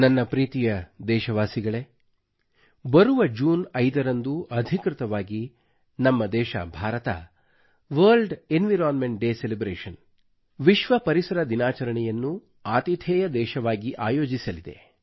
ನನ್ನ ಪ್ರೀತಿಯ ದೇಶವಾಸಿಗಳೇ ಬರುವ ಜೂನ್ 5 ರಂದು ಅಧಿಕೃತವಾಗಿ ನಮ್ಮ ದೇಶ ಭಾರತವು ವಿಶ್ವ ಪರಿಸರ ದಿನಾಚರಣೆಯನ್ನು ವರ್ಲ್ಡ್ ಎನ್ವೈರನ್ಮೆಂಟ್ ಡೇ ಸೆಲೆಬ್ರೇಷನ್ ಅತಿಥೇಯ ದೇಶವಾಗಿ ಆಯೋಜಿಸಲಿದೆ